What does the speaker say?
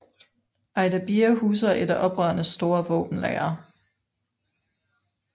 Ajdabiya huser et af oprørenes store våbenlagre